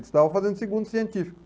Eu estavam fazendo o segundo científico.